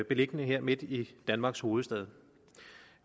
beliggende her midt i danmarks hovedstad